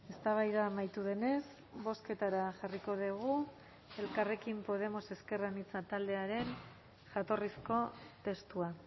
eztabaida amaitu denez bozketara jarriko dugu elkarrekin podemos ezker anitza taldearen jatorrizko testua